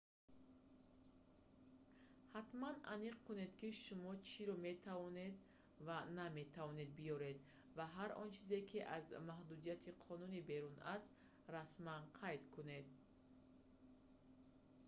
ҳатман аниқ кунед ки шумо чиро метавонед ва наметавонед биёред ва ҳар он чизе ки аз маҳдудияти қонунӣ берун аст расман қайд кунед